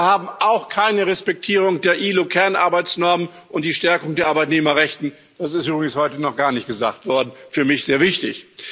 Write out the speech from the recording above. Und wir haben auch keine Respektierung der ILO Kernarbeitsnormen, und die Stärkung der Arbeitnehmerrechte das ist übrigens heute noch gar nicht gesagt worden ist für mich sehr wichtig.